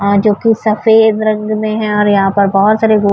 اور جو کی سفید رنگ مے ہے اور یہاں پر بھوت سارے وو --